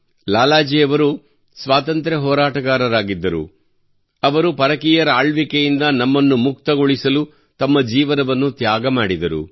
ಲಾಲಾ ಜಿ ಅವರು ಸ್ವಾತಂತ್ರ್ಯ ಹೋರಾಟದ ಹೋರಾಟಗಾರರಾಗಿದ್ದರು ಅವರು ಪರಕೀಯರ ಆಳ್ವಿಕೆಯಿಂದ ನಮ್ಮನ್ನು ಮುಕ್ತಗೊಳಿಸಲು ತಮ್ಮ ಜೀವನವನ್ನು ತ್ಯಾಗ ಮಾಡಿದರು